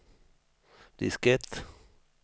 diskett